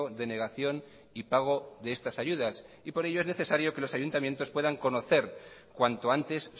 denegación y pago de estas ayudas y por ello es necesario que los ayuntamientos puedan conocer cuanto antes